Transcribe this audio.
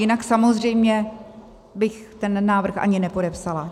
Jinak samozřejmě bych ten návrh ani nepodepsala.